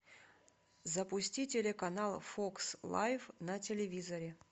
запусти телеканал фокс лайв на телевизоре